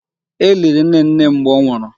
E liri nnenne m mgbe ọ nwụrụ.